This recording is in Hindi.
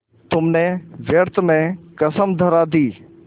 तुमने व्यर्थ में कसम धरा दी